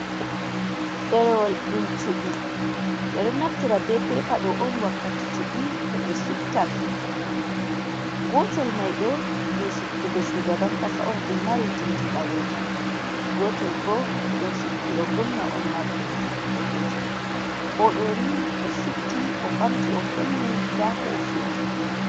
Ɗerewol ɗum cubi, ɓe ɗon naftira be pepaɗo on wakkati cubi to ɓe subtan, gotel maiɗo je subtugo shugabankasa on ɗum mari didi balejum, gotel ɓo ɗum subtugo gomna on mar ɗum didi boɗejum o ɗooni o subti o ɓamti o holli nda ko o subti.